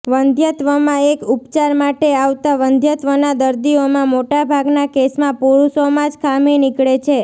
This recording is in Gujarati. વંધ્યત્વમાં એક ઉપચાર માટે આવતા વંધ્યત્વના દર્દીઓમાં મોટાભાગના કેસમાં પુરુષોમાં જ ખામી નીકળે છે